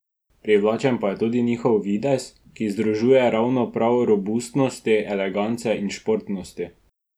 Privlačen pa je tudi njihov videz, ki združuje ravno prav robustnosti, elegance in športnosti.